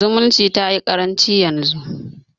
Zumunci tayi ƙaranci yanzu.